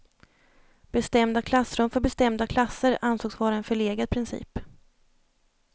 Bestämda klassrum för bestämda klasser ansågs vara en förlegad princip.